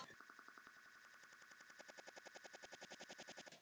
Og þið teiknið mikið saman?